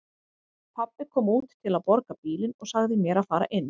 Pabbi kom út til að borga bílinn og sagði mér að fara inn.